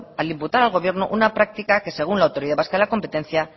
al imputar al gobierno una práctica que según la autoridad vasca de la competencia